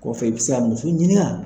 Kɔfɛ i bɛ se ka muso ɲini ga.